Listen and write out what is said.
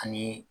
Ani